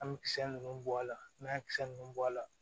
An bɛ kisɛ ninnu bɔ a la n'an ye kisɛ ninnu bɔ a la